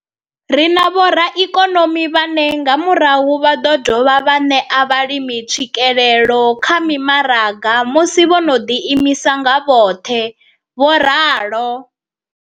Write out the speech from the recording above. Ri na vhoraikonomi vhane nga murahu vha ḓo dovha vha ṋea vhalimi tswikelelo kha mimaraga musi vho no ḓiimisa nga vhoṱhe, vho ralo.